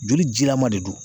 Joli jilaman de don